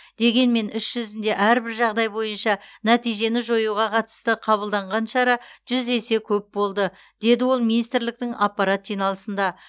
дегенмен іс жүзінде әрбір жағдай бойынша нәтижені жоюға қатысты қабылданған шара жүз есе көп болды деді ол министрліктің аппарат жиналысында